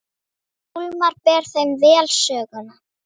Hólmar ber þeim vel söguna.